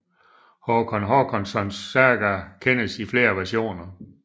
Håkon Håkonssons saga kendes i flere versioner